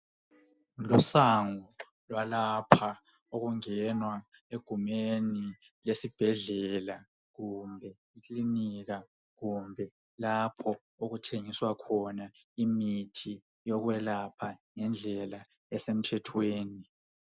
Isango lwalapha okungenwa egumeni esibhedlela kumbe ekilinika kumbe lapho okuthengiswa khona imithi yokwelapha ngendlela esemthethweni.